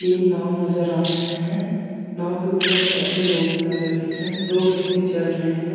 तीन नाव नज़र आ रहे हैं नाव के ऊपर में बैठे लोग नज़र दिख रहे हैं दो व्यक्ति चढ़ रहे हैं।